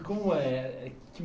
E como é é?